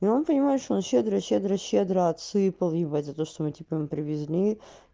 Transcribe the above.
ну он понимаешь он щедро щедро щедро отсыпал ебать за то что мы типа его привезли